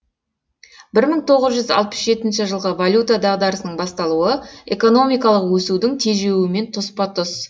бір мың тоғыз жүз алпыс жетінші жылғы валюта дағдарысының басталуы экономикалық өсудің тежеуімен тұспа тұс